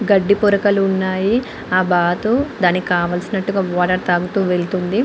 గడ్డి పొరకలు ఉన్నాయి. ఆ బాతు దానికి కావలిసినటు వాటర్ తాగుతూ వెళ్తుంది.